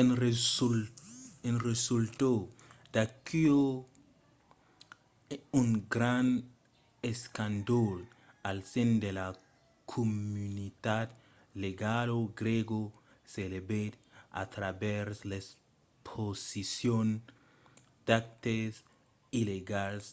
en resulta d’aquò un grand escàndol al sen de la comunitat legala grèga s'elevèt a travèrs l'exposicion d’actes illegals